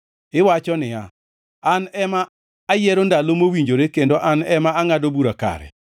Iwacho niya, “An ema ayiero ndalo mowinjore, kendo an ema angʼado bura kare.